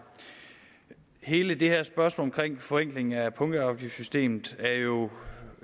hele det her spørgsmål om en forenkling af punktafgiftssystemet er jo